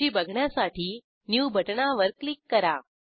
सूची बघण्यासाठी न्यू बटणावर क्लिक करा